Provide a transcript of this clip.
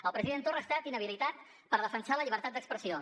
el president torra ha estat inhabilitat per defensar la llibertat d’expressió